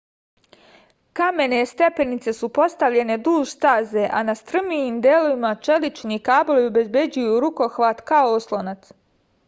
kamene stepenice su postavljene duž staze a na strmijim delovima čelični kablovi obezbeđuju rukohvat kao oslonac